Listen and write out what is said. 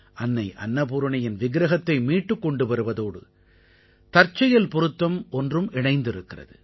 அன்னை அன்னபூரணியின் விக்ரஹத்தை மீட்டுக் கொண்டு வருவதோடு தற்செயல் பொருத்தம் ஒன்றும் இணைந்திருக்கிறது